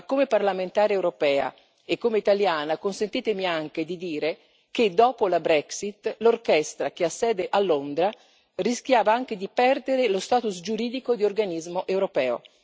Ma come parlamentare europea e come italiana, consentitemi anche di dire che dopo la Brexit l'orchestra, che ha sede a Londra, rischiava anche di perdere lo status giuridico di organismo europeo.